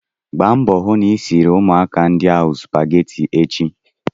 Gba mbọ hụ na ị siri ụmụaka ndi ahụ spageti echi!